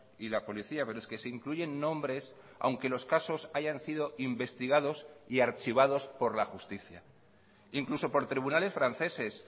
y la policía pero es que se incluyen nombres aunque los casos hayan sido investigados y archivados por la justicia incluso por tribunales franceses